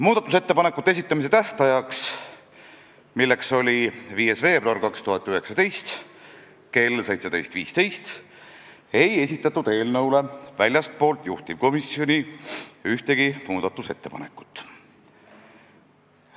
Muudatusettepanekute esitamise tähtajaks, mis oli 5. veebruar 2019 kell 17.15, ei esitatud eelnõu kohta väljastpoolt juhtivkomisjoni ühtegi muudatusettepanekut.